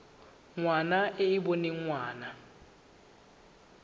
ngwana e e boneng ngwana